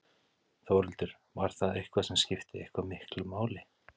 Þórhildur: Var það eitthvað sem skipti eitthvað miklu máli?